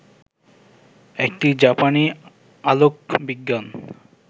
একটি জাপানি আলোকবিজ্ঞান